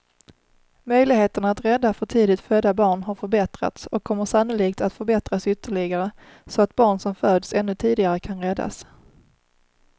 Möjligheterna att rädda för tidigt födda barn har förbättrats och kommer sannolikt att förbättras ytterligare så att barn som föds ännu tidigare kan räddas.